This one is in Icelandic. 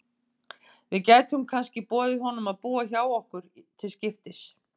Við gætum kannski boðið honum að búa hjá okkur til skiptis.